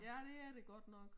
Ja det er det godt nok